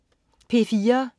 P4: